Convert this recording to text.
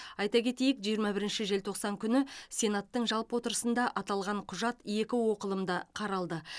айта кетейік жиырма бірінші желтоқсан күні сенаттың жалпы отырысында аталған құжат екі оқылымда қаралды